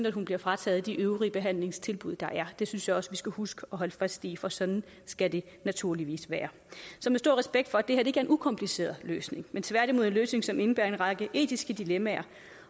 at hun bliver frataget de øvrige behandlingstilbud der er det synes jeg også vi skal huske at holde fast i for sådan skal det naturligvis være så med stor respekt for at det er en ukompliceret løsning men tværtimod en løsning som indebærer en række etiske dilemmaer